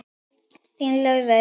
Þín Eva Laufey.